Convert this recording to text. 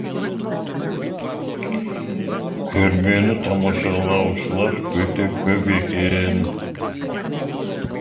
көрмені тамашалаушылар өте көп екен